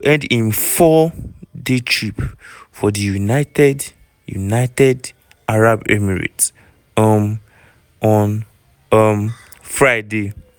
e go end im four-day trip for di united united arab emirates um on um friday.